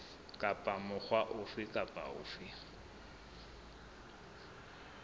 kapa mokga ofe kapa ofe